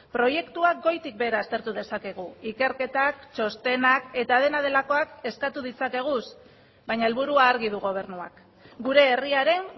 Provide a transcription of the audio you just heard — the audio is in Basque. proiektuak goitik behera aztertu dezakegu ikerketak txostenak eta dena delakoak eskatu ditzakegu baina helburua argi du gobernuak gure herriaren